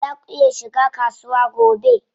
Zaa ku iya shiga kasuwa gobe?